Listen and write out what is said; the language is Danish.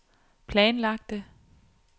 planlagte